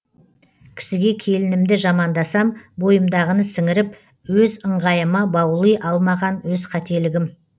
кісіге келінімді жамандасам бойымдағыны сіңіріп өз ыңғайыма баули алмаған өз қателігім